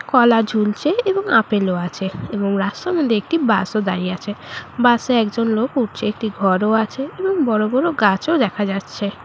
কলা ঝুলছে এবং আপেলও আছে এবং রাস্তার মধ্যে একটি বাস ও দাঁড়িয়ে আছে। বাস -এ একজন লোক উঠছে একটি ঘরও আছে এবং বড়ো বড়ো গাছও দেখা যাচ্ছে ।